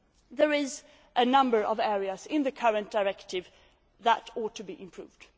There are a number of areas in the current directive that ought to be improved.